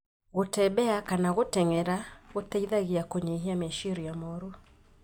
Gũtembea kana gũtenyera gũteithagia kũnyihia meciria moru